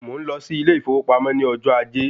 Mò ń lọ sí ilé ìfowópamọ́ ni ojo ajé